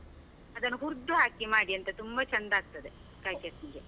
ಅದನ್ನು ಹುರ್ದ್ ಹಾಕಿ ಮಾಡಿ ಅಂತೆ, ತುಂಬಾ ಚಂದ ಆಗ್ತದೆ ಕಾಯಿ ಚಟ್ನಿಗೆ.